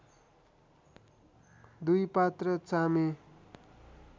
दुई पात्र चामे